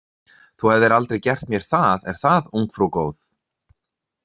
Þú hefðir aldrei gert mér það, er það, ungfrú góð?